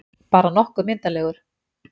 Bara nokkuð myndarlegur.